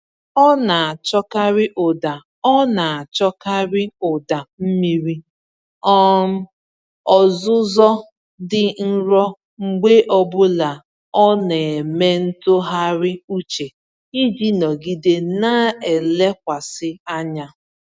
Ọ na-achọkarị ụda Ọ na-achọkarị ụda mmiri um ozuzo dị nro mgbe ọbụla ọ na-eme ntụgharị uche iji nọgide na-elekwasị anya.